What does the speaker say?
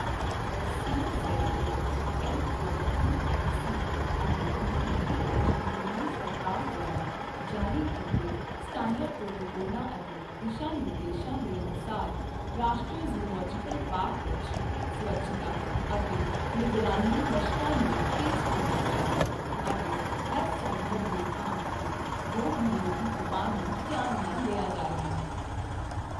CZA, MOEFC ਅਤੇ AHD Delhi ਸਰਕਾਰ ਦੁਆਰਾ ਜਾਰੀ ਕੀਤੇ ਸਟੈਂਡਰਡ ਪ੍ਰੋਟੋਕੋਲਾਂ ਅਤੇ ਦਿਸ਼ਾ ਨਿਰਦੇਸ਼ਾਂ ਦੇ ਅਨੁਸਾਰ, ਰਾਸ਼ਟਰੀ ਜ਼ੂਓਲਵੋਜੀਕਲ ਪਾਰਕ ਵਿੱਚ ਸਵੱਛਤਾ ਅਤੇ ਨਿਗਰਾਨੀ ਮਸ਼ਕਾਂ ਨੂੰ ਤੇਜ਼ ਕੀਤਾ ਗਿਆ ਹੈ ਅਤੇ ਹਰ ਸੰਭਵ ਰੋਕਥਾਮ ਅਤੇ ਰੋਗ ਨਿਰੋਧੀ ਉਪਾਅ ਨੂੰ ਧਿਆਨ ਨਾਲ ਲਿਆ ਜਾ ਰਿਹਾ ਹੈ।